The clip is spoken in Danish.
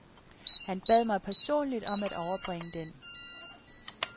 Han bad mig personligt om at overbringe den.